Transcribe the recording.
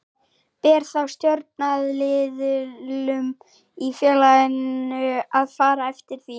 Ber þá stjórnaraðilum í félaginu að fara eftir því.